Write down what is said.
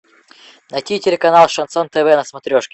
найти телеканал шансон тв на смотрешке